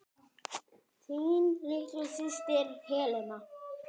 Þín litla systir, Helena.